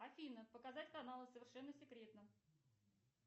афина показать каналы совершенно секретно